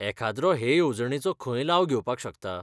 एखाद्रो हे येवजणेचो खंय लाव घेवपाक शकता?